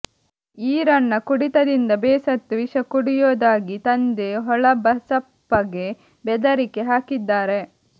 ಈರಣ್ಣ ಕುಡಿತದಿಂದ ಬೇಸತ್ತು ವಿಷ ಕುಡಿಯೊದಾಗಿ ತಂದೆ ಹೊಳಬಸಪ್ಪಗೆ ಬೆದರಿಕೆ ಹಾಕಿದ್ದಾರೆ